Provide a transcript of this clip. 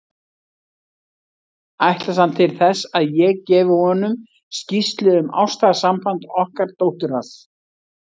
Ætlast hann til þess, að ég gefi honum skýrslu um ástarsamband okkar dóttur hans?